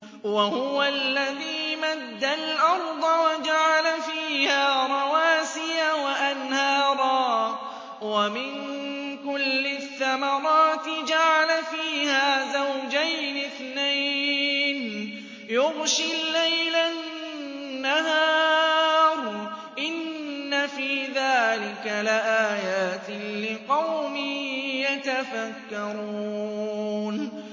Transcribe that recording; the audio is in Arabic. وَهُوَ الَّذِي مَدَّ الْأَرْضَ وَجَعَلَ فِيهَا رَوَاسِيَ وَأَنْهَارًا ۖ وَمِن كُلِّ الثَّمَرَاتِ جَعَلَ فِيهَا زَوْجَيْنِ اثْنَيْنِ ۖ يُغْشِي اللَّيْلَ النَّهَارَ ۚ إِنَّ فِي ذَٰلِكَ لَآيَاتٍ لِّقَوْمٍ يَتَفَكَّرُونَ